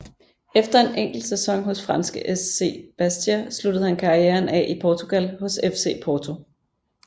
Efter en enkelt sæson hos franske SC Bastia sluttede han karrieren af i Portugal hos FC Porto